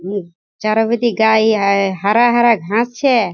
चारो पीती हरा हरा घास छे।